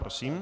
Prosím.